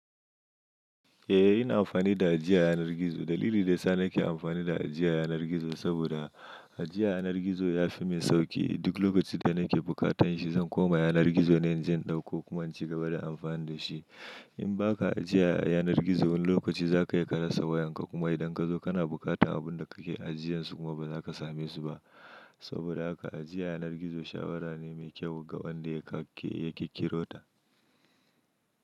Eh ina amfani da ajiya yanar gizo. Dalili da yasa nake amfani da ajiya yanar gizo, saboda ajiya yanar gizo ya fi min sauƙi. Duk lokacin da nake bukatan shi, zan koma yanar gizo ne inje in ɗauko kuma in cigaba da amfani da shi. In ba ka ajiye a yanar gizo wani lokaci za ka yi ka rasa wayanka kuma idan ka zo kana bukatan abun da kake ajiyansu kuma ba za ka same su ba. Saboda haka ajiya yanar gizo shawara ne mai kyau ga wanda yaƙirƙirota.